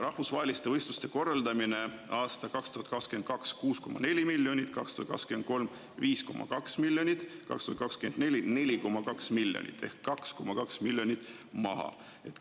Rahvusvaheliste võistluste korraldamine sai 2022. aastal 6,4 miljonit, 2023. aastal 5,2 miljonit ja 2024. aastal 4,2 miljonit ehk 2,2 miljonit eurot.